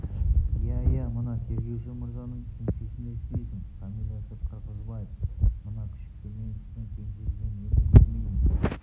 иә иә мына тергеуші мырзаның кеңсесінде істейсің фамилиясы қырғызбаев мына күшікті мен сіздің кеңсеңізден енді көрмейтін